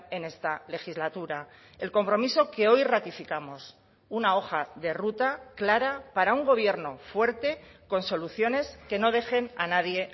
en esta legislatura el compromiso que hoy ratificamos una hoja de ruta clara para un gobierno fuerte con soluciones que no dejen a nadie